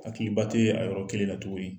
Ko hakiliba tɛ a yɔrɔ kelen la tugunni